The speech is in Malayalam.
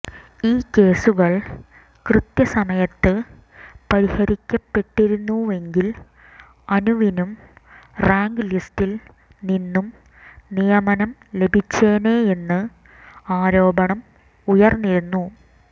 ഈ കേസുകൾ കൃത്യസമയത്ത് പരിഹരിക്കപ്പെട്ടിരുന്നുവെങ്കിൽ അനുവിനും റാങ്ക് ലിസ്റ്റിൽ നിന്നും നിയമനം ലഭിച്ചേനെയെന്ന് ആരോപണം ഉയർന്നിരുന്നു